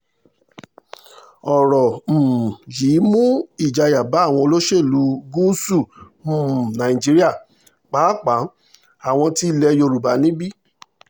ọ̀rọ̀ um yìí mú ìjayà bá àwọn olóṣèlú gúúsù um nàìjíríà pàápàá àwọn ti ilẹ̀ yorùbá níbí